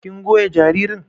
kin goya jaririn?